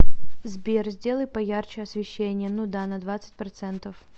сбер сделай поярче освещение ну да на двадцать процентов